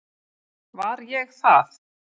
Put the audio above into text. Var ég það?